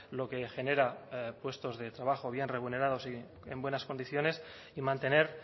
lo que genera puestos de trabajo bien remunerados y en buenas condiciones y mantener